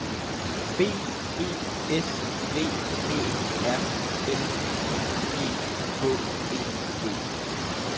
B E S V Æ R L I G H E D